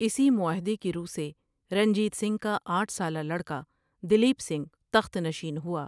اسی معاہدے کی رو سے رنجیت سنگھ کا آٹھ سالہ لڑکا دلیپ سنگھ تخت نشین ہوا ۔